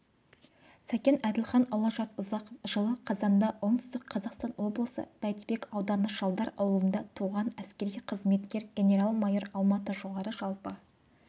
сәкен әділханұлы жасұзақов жылы қазанда оңтүстік қазақстан облысы бәйдібек ауданышалдар ауылында туған әскери қызметкер генерал-майор алматыжоғары жалпы